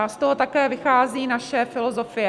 A z toho také vychází naše filozofie.